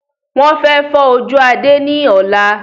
Wọn fẹ fọ́ ojú Adé ni ọ̀la